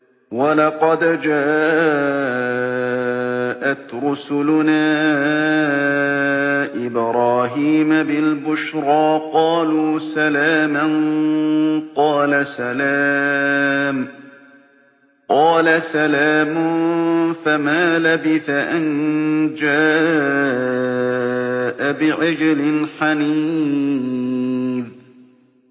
وَلَقَدْ جَاءَتْ رُسُلُنَا إِبْرَاهِيمَ بِالْبُشْرَىٰ قَالُوا سَلَامًا ۖ قَالَ سَلَامٌ ۖ فَمَا لَبِثَ أَن جَاءَ بِعِجْلٍ حَنِيذٍ